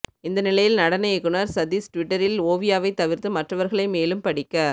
இந்த நிலையில் நடன இயக்குனர் சதீஷ் டுவிட்டரில் ஓவியாவை தவிர்த்து மற்றவர்களை மேலும் படிக்க